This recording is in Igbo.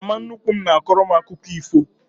Mama nnukwu m na-akọrọ m akụkọ ifo.